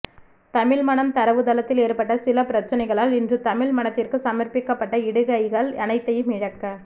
தமிழ்மணம் தரவுத்தளத்தில் ஏற்பட்ட சில பிரச்சனைகளால் இன்று தமிழ்மணத்திற்கு சமர்ப்பிக்கப்பட்ட இடுகைகள் அனைத்தையும் இழக்க